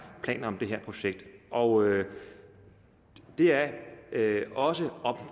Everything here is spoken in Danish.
planer om det her projekt og det er også